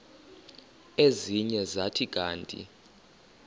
ezinye zathi kanti